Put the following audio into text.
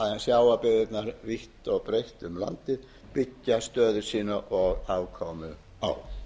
og breitt um landið styrkja stöðu sína og afkomu á